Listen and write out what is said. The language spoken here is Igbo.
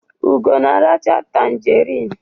Ugo na-aracha tanjerịn.